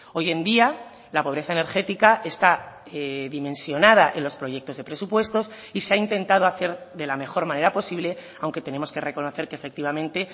hoy en día la pobreza energética está dimensionada en los proyectos de presupuestos y se ha intentado hacer de la mejor manera posible aunque tenemos que reconocer que efectivamente